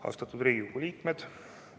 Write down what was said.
Austatud Riigikogu liikmed!